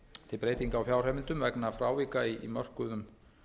til breytinga á fjárheimildum vegna frávika í mörkuðum